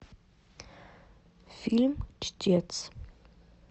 фильм чтец